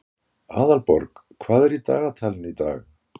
Aðalborg, hvað er í dagatalinu í dag?